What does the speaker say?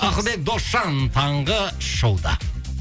ақылбек досжан таңғы шоуда